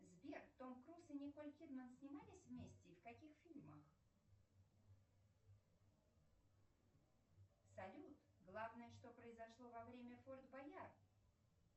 сбер том круз и николь кидман снимались вместе и в каких фильмах салют главное что произошло во время форд боярд